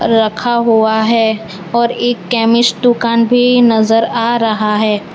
रखा हुआ है और एक केमिस्ट दुकान भी नजर आ रहा है।